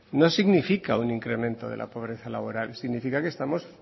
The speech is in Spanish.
no significa un incremento de la pobreza laboral significa que estamos